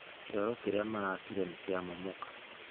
Kĩoro kĩrĩa maraakire nĩ kĩamomoka